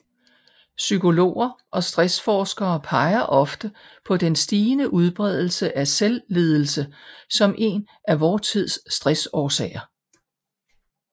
Psykologer og stressforskere peger ofte på den stigende udbredelse af selvledelse som en af vor tids stressårsager